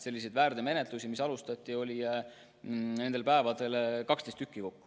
Selliseid väärteomenetlusi oli nendel päevadel kokku 12.